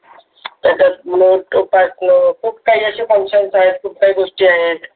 तस note pass note खुप काही function आहे, खूप काही गोष्टी आहेत.